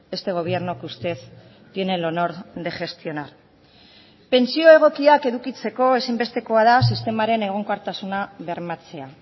este gobierno que usted tiene el honor de gestionar pentsio egokiak edukitzeko ezinbestekoa da sistemaren egonkortasuna bermatzea